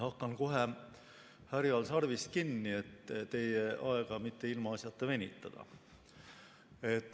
Hakkan kohe härjal sarvist kinni, et teie aega mitte ilmaasjata venitada.